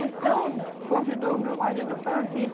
Então, convidou o meu marido para vir.